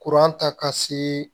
Kuran ta ka se